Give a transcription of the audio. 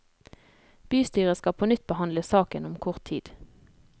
Bystyret skal på nytt behandle saken om kort tid.